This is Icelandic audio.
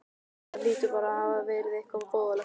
Það hlýtur bara að hafa verið eitthvað voðalegt.